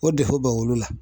O bɛ olu la .